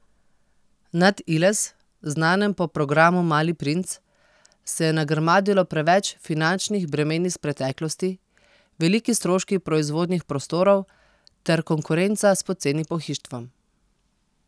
Nad Iles, znanem po programu Mali princ, se je nagrmadilo preveč finančnih bremen iz preteklosti, veliki stroški proizvodnih prostorov ter konkurenca s poceni pohištvom.